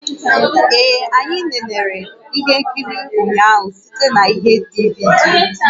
Ee anyị nenere ihe nkiri ụnyaahụ site na ihe DVD